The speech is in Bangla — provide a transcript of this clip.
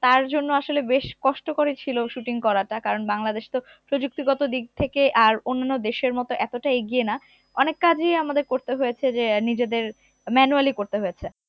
তার জন্য আসলে বেশ কষ্ট করেছিল shooting করাটা কারণ বাংলাদেশ তো প্রযুক্তিগত দিক থেকে আর অন্যান্য দেশের মতো এতোটা এগিয়ে না অনেক কাজই আমাদের করতে হয়েছে যে আহ নিজেদের manually করতে হয়েছে